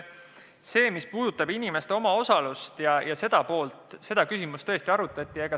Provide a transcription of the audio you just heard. Seda, mis puudutab inimeste omaosalust, tõesti arutati.